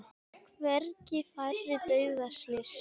Hvergi færri dauðaslys